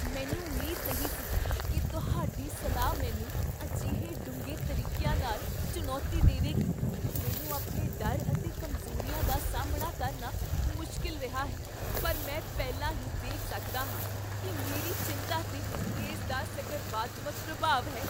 ਮੈਨੂੰ ਉਮੀਦ ਨਹੀਂ ਸੀ ਕੀ ਤੁਹਾਡੀ ਸਲਾਹ ਮੈਨੂੰ ਅਜਿਹੇ ਡੂੰਘੇ ਤਰੀਕਿਆਂ ਨਾਲ ਚੁਣੌਤੀ ਦੇਵੇਗੀ! ਮੈਨੂੰ ਆਪਣੇ ਡਰ ਅਤੇ ਕਮਜ਼ੋਰੀਆਂ ਦਾ ਸਾਹਮਣਾ ਕਰਨਾ ਮੁਸ਼ਕਲ ਰਿਹਾ ਹੈ, ਪਰ ਮੈਂ ਪਹਿਲਾਂ ਹੀ ਦੇਖ ਸਕਦਾ ਹਾਂ ਕੀ ਮੇਰੀ ਚਿੰਤਾ 'ਤੇ ਇਸ ਦਾ ਸਕਰਵਾਤਮਕ ਪ੍ਰਭਾਵ ਹੈ।